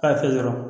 K'a kɛ dɔrɔn